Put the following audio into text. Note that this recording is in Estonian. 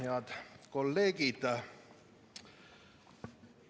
Head kolleegid!